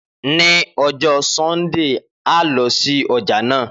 Ni ọjọ Sundee, a lọ si ọja naa.